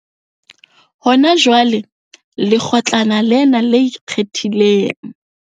Hona jwale, lekgotlana lena le Ikgethileng.